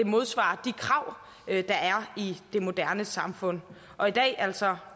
modsvarer de krav der er i det moderne samfund og i dag altså